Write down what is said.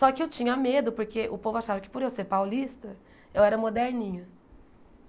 Só que eu tinha medo, porque o povo achava que, por eu ser paulista, eu era moderninha.